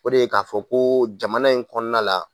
O de ye k'a fɔ koo jamana in kɔɔna la